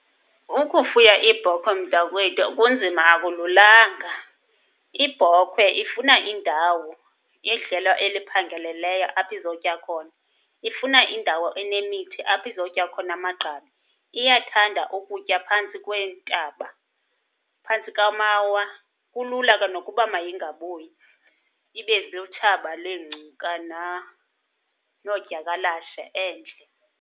Ukufuya iibhokhwe mntakwethu kunzima, akululanga. Ibhokhwe ifuna indawo, idlelo eliphangeleleyo apho izotya khona. Ifuna indawo enemithi apho izotya khona amagqabi. Iyathanda ukutya phantsi kweentaba, phantsi kamawa. Kulula ke nokuba mayingabuyi, ibe lutshaba leengcuka noodyakalashe endle.